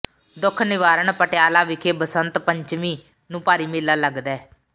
ਦੁੱਖ ਨਿਵਾਰਨ ਪਟਿਆਲਾ ਵਿਖੇ ਬਸੰਤ ਪੰਚਵੀਂ ਨੂੰ ਭਾਰੀ ਮੇਲਾ ਲੱਗਦੈ